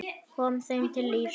Kom þeim til lífs.